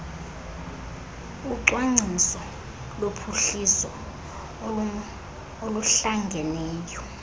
ucwangciso lophuhliso oluhlangeneyo